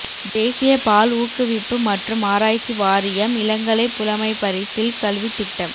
தேசிய பால் ஊக்குவிப்பு மற்றும் ஆராய்ச்சி வாரியம் இளங்கலை புலமைப்பரிசில் கல்வித் திட்டம்